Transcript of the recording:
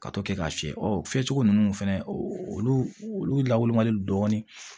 Ka to kɛ k'a fiyɛ fiyɛ cogo nunnu fɛnɛ olu olu lawolo man di dɔɔni